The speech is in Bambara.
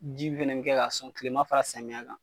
Ji fɛnɛ be kɛ ka sɔn kilema fara samiya kan